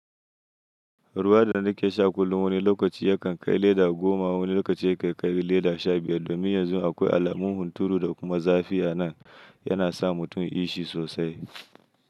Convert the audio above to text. Ruwa da na ke sha kullum wani lokaci ya kan kai leda goma wani lokaci ya kan kai leda sha biyar domin yanzu akwai alamun hunturu da kuma zafi a nan yana sa mutum ishi sosai.